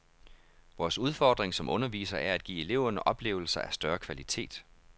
Vores udfordring som undervisere er at give eleverne oplevelser af større kvalitet.